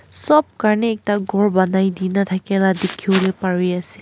sop karni ekta ghor banaidina thakila dikhiwolae parease.